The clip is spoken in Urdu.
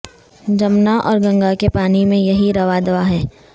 جمنا اور گنگا کے پانی میں یہی رواں دواں ہے